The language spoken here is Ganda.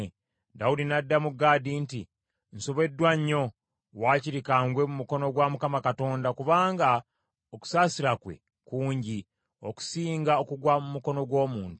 Dawudi n’addamu Gaadi nti, “Nsobeddwa nnyo. Wakiri ka ngwe mu mukono gwa Mukama Katonda, kubanga okusaasira kwe kungi, okusinga okugwa mu mukono gw’omuntu.”